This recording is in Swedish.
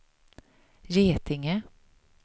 Getinge